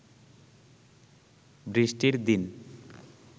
বৃষ্টির দিন